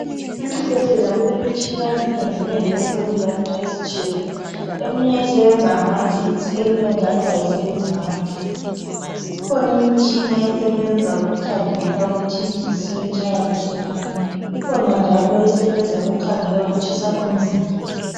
Esibhedlela kulemitshina eminengineni, esebenza izinto ezitshiyeneyo. Eminye isebenza ngamagetsi. Eminye njalo kayisebenzi ngamagetsi. Ikhona imitshina esebenza ukukhangela ukuthi inhliziyo itshaya kuhle na? Ikhona njalo esebenza ukukhangela ukutshisa komzimba.